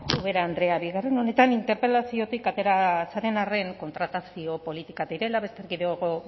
ubera andrea bigarren honetan interpelaziotik atera zaren arren kontratazio politika direla beste erkidego